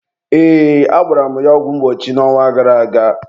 ee, agbara m ya ọgwụ mgbochi n'ọnwa gara aga.